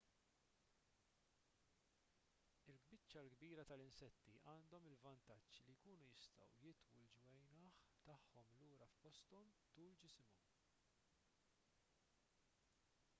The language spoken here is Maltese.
il-biċċa l-kbira tal-insetti għandhom il-vantaġġ li jkunu jistgħu jitwu l-ġwienaħ tagħhom lura f'posthom tul ġisimhom